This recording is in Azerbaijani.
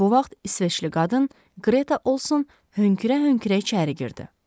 Bu vaxt İsveçli qadın Qreta Olson hönkür-hönkür içəri girdi.